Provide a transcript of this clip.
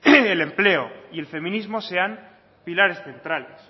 el empleo y el feminismo sean pilares centrales